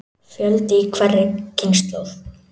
Fjöldi í hverri kynslóð.